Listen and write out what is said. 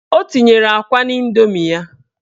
O tinyere akwa n'indomi ya.